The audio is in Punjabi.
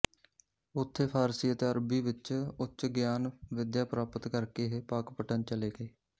ਉੱਥੇ ਫਾਰਸੀ ਅਤੇ ਅਰਬੀ ਵਿੱਚ ਉੱਚ ਗਿਆਨ ਵਿਦਿਆ ਪ੍ਰਾਪਤ ਕਰਕੇ ਇਹ ਪਾਕਪਟਨ ਚਲੇ ਗਏ